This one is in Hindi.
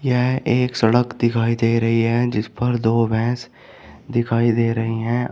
यह एक सड़क दिखाई दे रही है जिस पर दो भैंस दिखाई दे रही हैं।